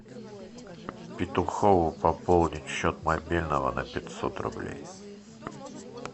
петухову пополнить счет мобильного на пятьсот рублей